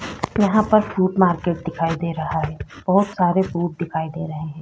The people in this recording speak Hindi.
यहाँ पर फ्रूट मार्केट दिखाई दे रहा है बहुत सारे फ्रूट दिखाई दे रहे हैं।